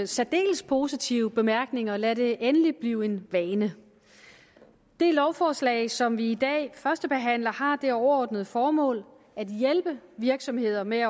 særdeles positive bemærkninger lad det endelig blive en vane det lovforslag som vi i dag førstebehandler har det overordnede formål at hjælpe virksomheder med